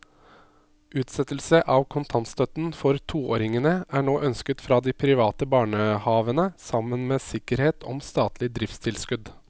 Utsettelse av kontantstøtten for toåringene er nå ønsket fra de private barnehavene sammen med sikkerhet om statlig driftstilskudd.